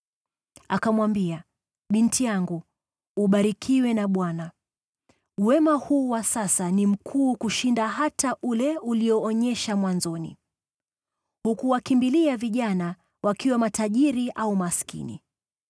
Akamwambia, “Binti yangu, ubarikiwe na Bwana . Wema huu wa sasa ni mkuu kushinda hata ule ulioonyesha mwanzoni. Hukuwakimbilia vijana, wakiwa matajiri au maskini.